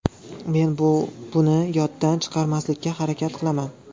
Men bu buni yoddan chiqarmaslikka harakat qilaman.